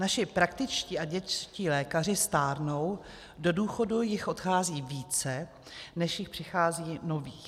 Naši praktičtí a dětští lékaři stárnou, do důchodu jich odchází více, než jich přichází nových.